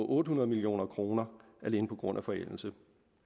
otte hundrede million kroner alene på grund af forældelse